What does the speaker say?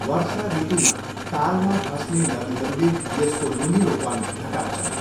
वर्षा ऋतुमा तालमा खस्ने नदीहरूले यसको नुनिलोपन घटाउँछन्।